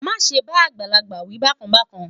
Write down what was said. má sé bá àgbàlagbà wí bákan bákan